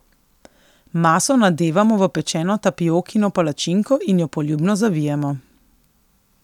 Maso nadevamo v pečeno tapiokino palačinko in jo poljubno zavijemo.